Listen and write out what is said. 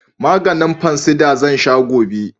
Maganin fansida zan sha gobe